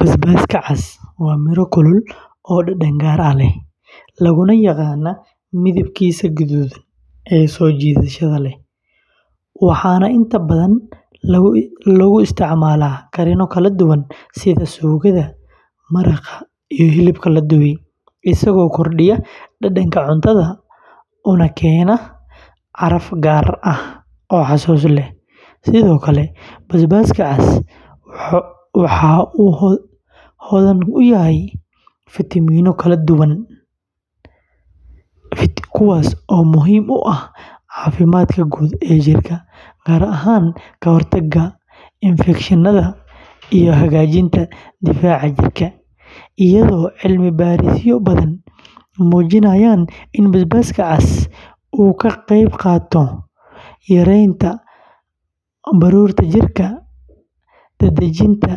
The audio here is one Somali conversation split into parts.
Basbaaska cas waa miro kulul oo dhadhan gaar ah leh, laguna yaqaan midabkiisa guduudan ee soo jiidashada leh, waxaana inta badan lagu isticmaalaa karinno kala duwan sida suugada, maraqa, iyo hilibka la dubay, isagoo kordhiya dhadhanka cuntada una keena caraf gaar ah oo xasuus leh; sidoo kale, basbaaska cas waxa uu hodan ku yahay fitamiinno kala duwan, kuwaas oo muhiim u ah caafimaadka guud ee jirka, gaar ahaan ka hortagga infekshannada iyo hagaajinta difaaca jirka; iyadoo cilmi-baarisyo badan muujinayaan in basbaaska cas uu ka qeyb qaato yareynta baruurta jirka, dedejinta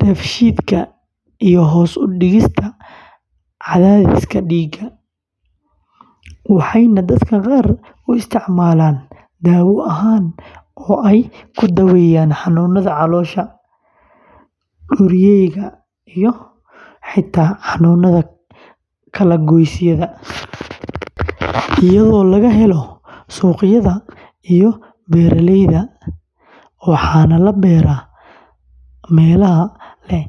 dheefshiidka, iyo hoos u dhigista cadaadiska dhiigga, waxayna dadka qaar u isticmaalaan dawo ahaan oo ay ku daaweeyaan xanuunada caloosha, durayga, iyo xitaa xanuunada kala goysyada, iyadoo laga helo suuqyada iyo beeraleyda, waxaana la beeraa meelaha leh cimilo diirran.